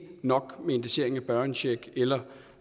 nok med indeksering af børnecheck eller